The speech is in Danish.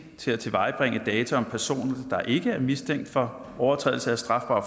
til at tilvejebringe data om personer der ikke er mistænkt for overtrædelse af strafbare